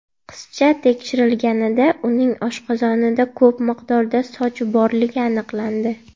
Qizcha tekshirilganida, uning oshqozonida ko‘p miqdorda soch borligi aniqlandi.